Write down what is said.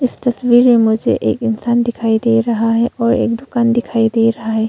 इस तस्वीर में मुझे एक इंसान दिखाई दे रहा है और एक दुकान दिखाई दे रहा है।